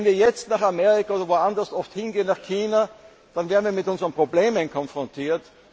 können. Wenn wir jetzt nach Amerika oder woandershin gehen, nach China, dann werden wir mit unseren Problemen konfrontiert.